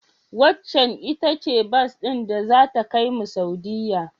Waccen ita ce bas din da zata kaimu Saudiyya?